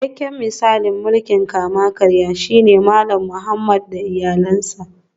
Cikakken misalin mulkin kama-karya shine Malam Muhammad da iyalansa